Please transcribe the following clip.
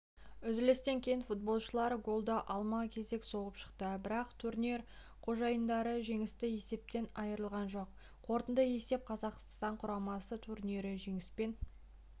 үзілістен кейін футболшылар голды алма кезек соғып шықты бірақ турнир қожайындары жеңісті есептен айырылған жоқ қорытынды есеп қазақстан құрамасы турнирді жеңіспен